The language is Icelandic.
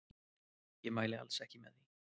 Ég mæli alls ekki með því.